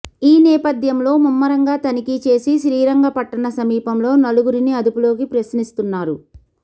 ఈ నేపథ్యంలో ముమ్మరంగా తనిఖీ చేసి శ్రీరంగపట్టణ సమీపంలో నలుగురిని అదుపులోకి ప్రశ్నిస్తున్నారు